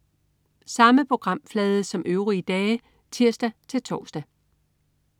Samme programflade som øvrige dage (tirs-tors)